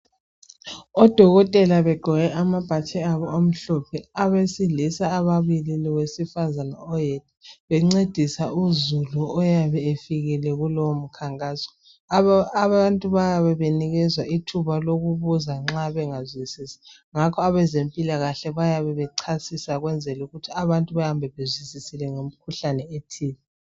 Odokotela begqoke amabhatshi abo amhlophe, abesilisa ababili lowesifazana oyedwa bencedisa uzulu oyabe efikile kulowo mkhankaso. Aba abantu bayabe benikezwa ithuba lokubuza nxa bengazwisisi. Ngakho abezempilakahle bayabe bechasisa ukwenzela ukuthi abantu bahambe bezwisisile ngemkhuhlane ethile.